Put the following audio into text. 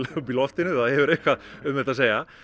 upp í loftinu það hefur eitthvað um þetta að segja